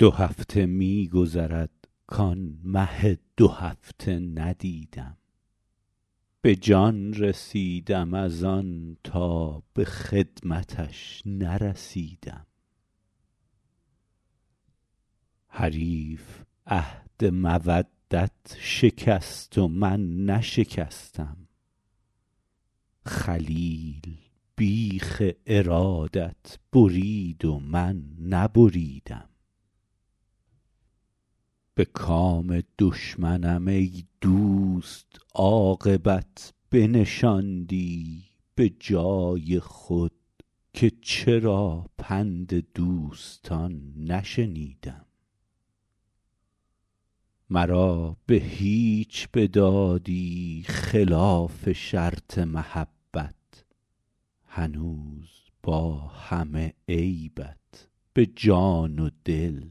دو هفته می گذرد کآن مه دوهفته ندیدم به جان رسیدم از آن تا به خدمتش نرسیدم حریف عهد مودت شکست و من نشکستم خلیل بیخ ارادت برید و من نبریدم به کام دشمنم ای دوست عاقبت بنشاندی به جای خود که چرا پند دوستان نشنیدم مرا به هیچ بدادی خلاف شرط محبت هنوز با همه عیبت به جان و دل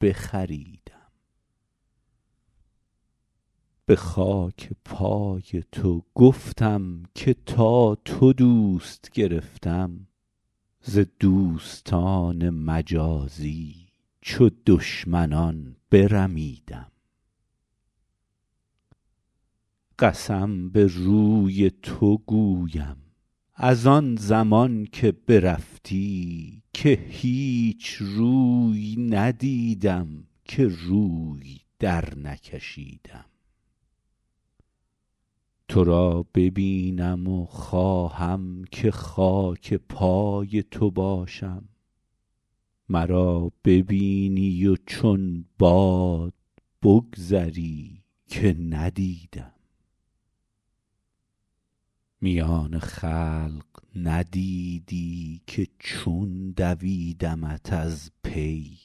بخریدم به خاک پای تو گفتم که تا تو دوست گرفتم ز دوستان مجازی چو دشمنان برمیدم قسم به روی تو گویم از آن زمان که برفتی که هیچ روی ندیدم که روی درنکشیدم تو را ببینم و خواهم که خاک پای تو باشم مرا ببینی و چون باد بگذری که ندیدم میان خلق ندیدی که چون دویدمت از پی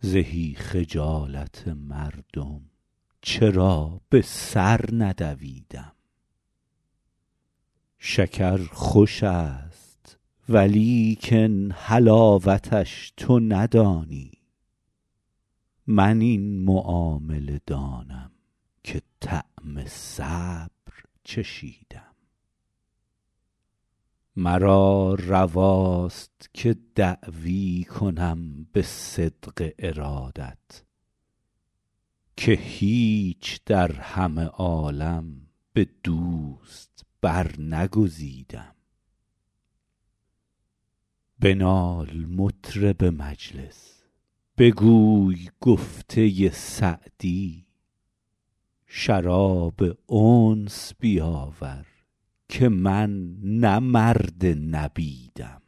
زهی خجالت مردم چرا به سر ندویدم شکر خوش است ولیکن حلاوتش تو ندانی من این معامله دانم که طعم صبر چشیدم مرا رواست که دعوی کنم به صدق ارادت که هیچ در همه عالم به دوست برنگزیدم بنال مطرب مجلس بگوی گفته سعدی شراب انس بیاور که من نه مرد نبیدم